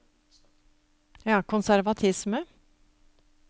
konservatisme